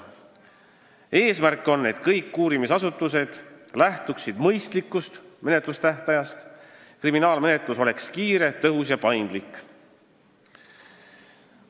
Eesmärk on, et kõik uurimisasutused lähtuksid mõistlikust menetlustähtajast ning kriminaalmenetlus oleks kiire, tõhus ja paindlik.